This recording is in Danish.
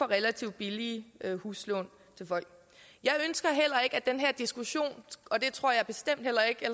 relativt billige huslån til folk jeg ønsker at den her diskussion og det tror jeg bestemt heller ikke at